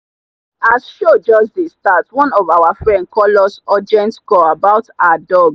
as show just dey start one of our friend call us urgent call about her dog.